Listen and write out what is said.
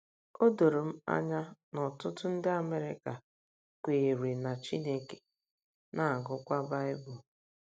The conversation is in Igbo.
O doro m anya na ọtụtụ ndị Amerịka kweere na Chineke, na - agụkwa Baịbụl.